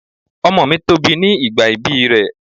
Ọmọ mi tóbi ní ìgbà ibí rẹ̀.